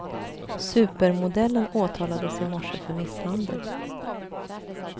Supermodellen åtalades i morse för misshandel.